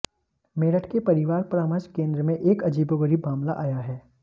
मेरठ के परिवार परामर्श केंद्र में एक अजीबोगरीब मामला आया है